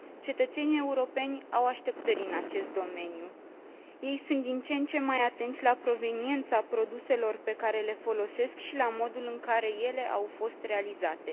Cetățenii europeni au așteptări în acest domeniu. Ei sunt din ce în ce mai atenți la proveniența produselor pe care le folosesc și la modul în care ele au fost realizate.